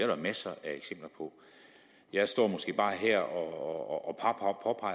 jo masser af eksempler på jeg står måske bare her og